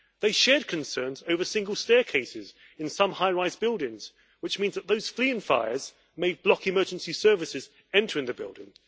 They shared concerns over single staircases in some high rise buildings, which means that those fleeing fires may block emergency services entering the building.